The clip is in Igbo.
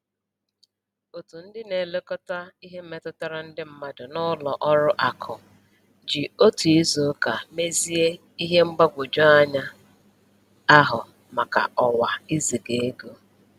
Otu ndị na-elekọta ihe metụtara ndị mmadụ n'ụlọ ọrụ akụ ji otu izuụka mezie ihe mgbagwoju anya ahụ maka ọwa iziga ego